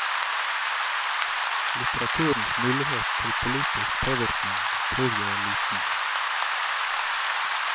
Litteraturens mulighet til politisk påvirkning tror jeg er liten.